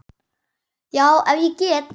Já, ef ég get.